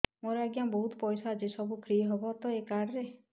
ମୋର ଆଜ୍ଞା ବହୁତ ପଇସା ଅଛି ସବୁ ଫ୍ରି ହବ ତ ଏ କାର୍ଡ ରେ